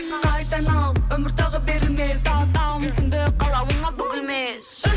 қайта айналып өмір тағы берілмес тағы тағы мүмкіндік қалауыңа бүгілмес